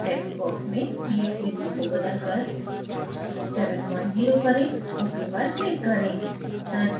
text box में ph value को बदलकर 70 करें ok पर click करें